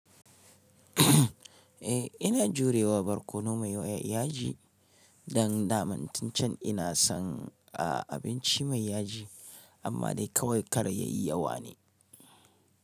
Eh ina jurewa barkono mai yaji, dan daman tun can ina son abinci mai yaji amma dai kawai kar yayi yawa ne.